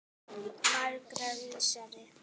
Margs vísari.